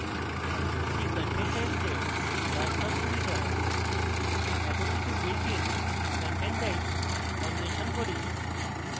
এটি content types এর বাস্তব সুবিধা এখন কিছু built in content types অন্বেষণ করি